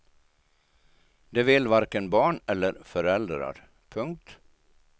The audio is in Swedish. Det vill varken barn eller föräldrar. punkt